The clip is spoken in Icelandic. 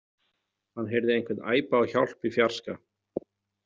Hann heyrði einhvern æpa á hjálp í fjarska.